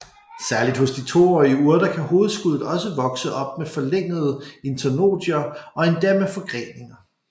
Særligt hos de toårige urter kan hovedskuddet også vokse op med forlængede internodier og endda med forgreninger